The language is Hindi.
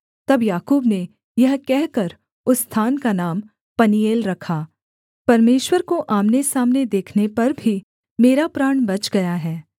तब याकूब ने यह कहकर उस स्थान का नाम पनीएल रखा परमेश्वर को आमनेसामने देखने पर भी मेरा प्राण बच गया है